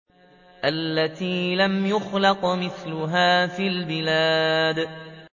الَّتِي لَمْ يُخْلَقْ مِثْلُهَا فِي الْبِلَادِ